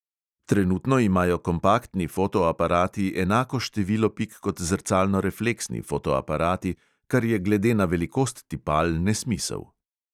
Trenutno imajo kompaktni fotoaparati enako število pik kot zrcalnorefleksni fotoaparati, kar je glede na velikost tipal nesmisel.